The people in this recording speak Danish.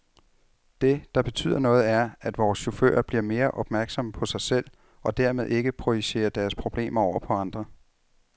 Det, der betyder noget, er, at vore chauffører bliver mere opmærksomme på sig selv, og dermed ikke projicerer deres problemer over på andre.